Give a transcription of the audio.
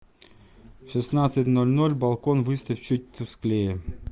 в шестнадцать ноль ноль балкон выставь чуть тусклее